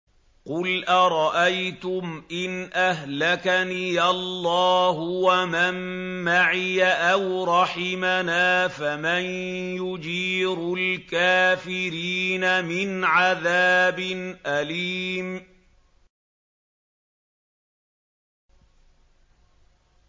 قُلْ أَرَأَيْتُمْ إِنْ أَهْلَكَنِيَ اللَّهُ وَمَن مَّعِيَ أَوْ رَحِمَنَا فَمَن يُجِيرُ الْكَافِرِينَ مِنْ عَذَابٍ أَلِيمٍ